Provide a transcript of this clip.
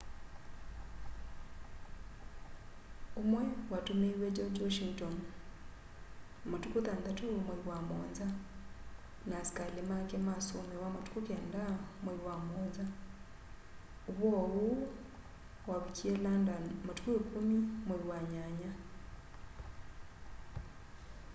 umwe watumiiwe george washington matũkũ 6 mwai wa 7 na asikali make masomewa matũkũ 9 mwai wa 7 ũvoo uũ wavikie london matũkũ 10 mwai wa nyanya